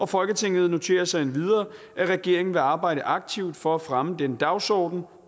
folketinget noterer sig at regeringen vil arbejde aktivt for at fremme denne dagsorden